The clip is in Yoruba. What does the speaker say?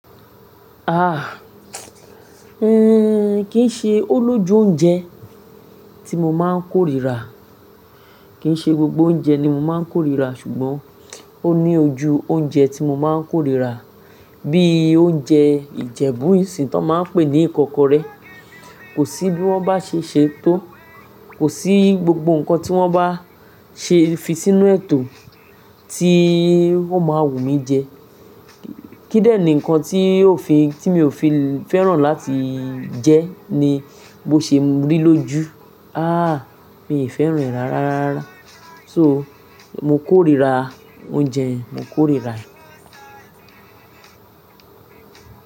Ah, hmm, kì í ṣe ó lójú oúnjẹ tí mo máa ń kórira. Kì í ṣe gbogbo oúnjẹ ni mo máa ń kórira ṣùgbọ́n ó ní ojú oúnjẹ tí mo máa ń kórira bí i oúnjẹ Ìjẹ̀bú ìsìn tón máa ń pè ní ìkọ́kọrẹ́. Kò sí bí wọ́n bá ṣe é ṣe tó, kò sí gbogbo nǹkan tí wọ́n bá ṣe fi sínú ẹ̀ tò tí wón máa wù mí jẹ. Kí ìdẹ ni nǹkan tí òfin tí mi ò fi fẹ́ràn láti jẹ ni bó ṣe ń rí lójú, ah mi ì fẹ́ràn ẹ̀ rárára. So mo kórira oúnjẹ yẹn, mo kórira ẹ̀.